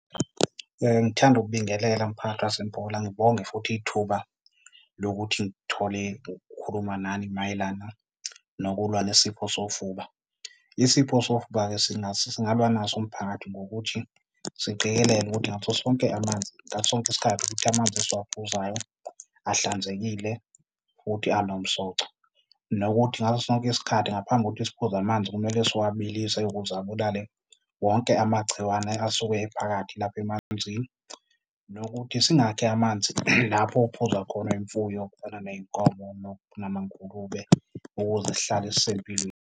Ngithanda ukubingelela mphakathi waseMpola, ngibonge futhi ithuba lokuthi ngithole ukukhuluma nani mayelana nokulwa nesifo sofuba. Isifo sofuba-ke singalwa naso mphakathi ngokuthi siqikelele ukuthi ngaso sonke amanzi, ngaso sonke isikhathi ukuthi amanzi esiwaphuzayo ahlanzekile futhi anomsoco. Nokuthi ngaso sonke isikhathi ngaphambi kokuthi isiphuzo amanzi kumele siwabilise ukuze abulale wonke amagciwane asuke ephakathi lapho emanzini. Nokuthi singakhi amanzi lapho okuphuza khona imfuyo, kukhona ney'nkomo namangulube ukuze sihlale sisempilweni.